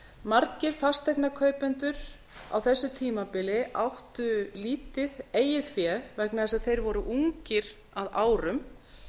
margir fasteignakaupendur á þessu tímabili áttu lítið eigið fé vegna þess að þeir voru ungir að árum